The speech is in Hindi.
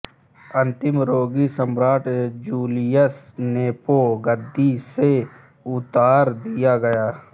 अंतिम रोगी सम्राट् जूलियस नेपो गद्दी से उतार दिया गया